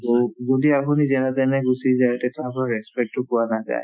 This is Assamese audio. যদি আপুনি যেনে তেনে গুচি তেতিয়া আপোনাক respect তো পোৱা নাযায়